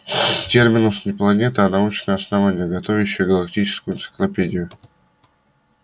терминус не планета а научное основание готовящее галактическую энциклопедию